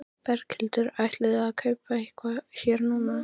Berghildur: Ætlið þið að kaupa eitthvað hér núna?